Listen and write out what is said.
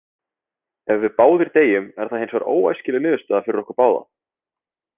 Ef við báðir deyjum er það hins vegar óæskileg niðurstaða fyrir okkur báða.